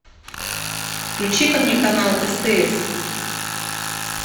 включи ка мне канал стс